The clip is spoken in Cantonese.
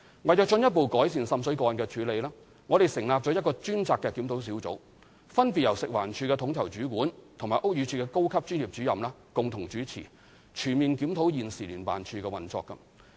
為進一步改善滲水個案的處理，我們成立了一個專責檢討小組，分別由食環署的統籌主管和屋宇署的高級專業主任共同主持，全面檢討現時聯辦處的運作。